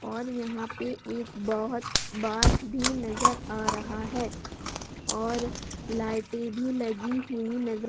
और यहां पे एक बहुत बास भी नजर आ रहा है और लाइटे भी लगी हुई नज़र --